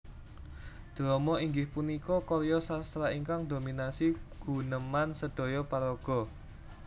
Drama inggih punika karya sastra ingkang dominasi guneman sedhoyo paraga